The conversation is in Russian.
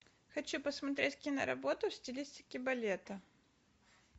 хочу посмотреть киноработу в стилистике балета